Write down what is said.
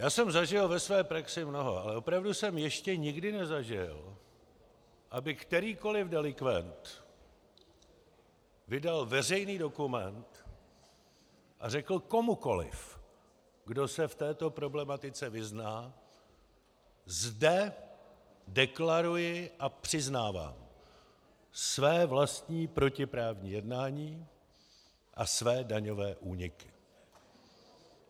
Já jsem zažil ve své praxi mnoho, ale opravdu jsem ještě nikdy nezažil, aby kterýkoliv delikvent vydal veřejný dokument a řekl komukoliv, kdo se v této problematice vyzná: zde deklaruji a přiznávám své vlastní protiprávní jednání a své daňové úniky.